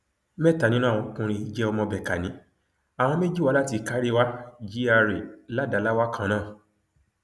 mẹta nínú àwọn ọkùnrin yìí jẹ ọmọ békánì àwọn méjì wá láti kåréwà gra ládáláwà kan náà